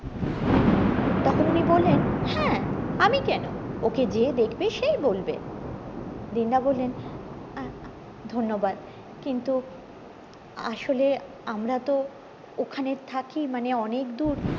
তখন উনি বললেন হ্যাঁ আমি কেন ওকে যেই দেখবে সেই বলবে দিন দা বললেন ধন্যবাদ কিন্তু আসলে আমরা তো ওখানে থাকি মানে অনেক দূর